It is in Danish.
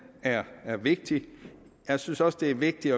er er vigtig jeg synes også det er vigtigt